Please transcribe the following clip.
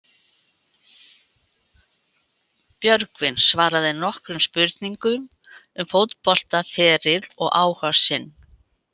Björgvin svaraði nokkrum spurningum um fótboltaferil og áhuga sinn.